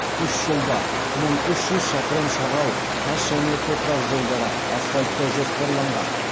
үш жылда мың үш жүз шақырым шағал тас және топырақ жолдары асфальттау жоспарланған